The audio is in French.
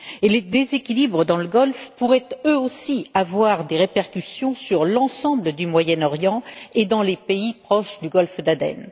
Les déséquilibres dans le Golfe pourraient eux aussi avoir des répercussions sur l'ensemble du Moyen Orient et dans les pays proches du Golfe d'Aden.